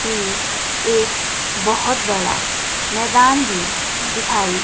ये एक बहुत बड़ा मैदान भी दिखाई--